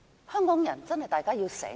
香港人真的要醒來。